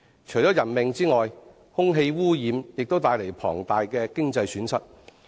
除人命外，空氣污染亦帶來龐大的經濟損失。